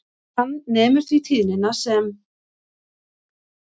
Hann nemur því tíðnina sem